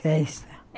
Festa?